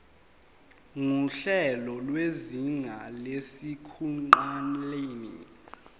nguhlelo lwezinga lasekuqaleni